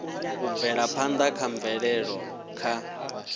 u bvelaphanda ha mvelele kha